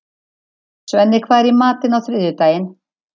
Svenni, hvað er í matinn á þriðjudaginn?